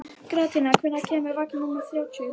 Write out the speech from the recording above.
Gratíana, hvenær kemur vagn númer þrjátíu og níu?